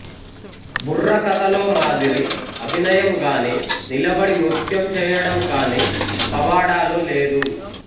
బుర్రకథలో మాదిరి అభినయంగానీ నిలబడి నృత్యం చేయడం గానీ పవాడాలో లేదు